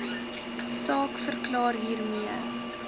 saak verklaar hiermee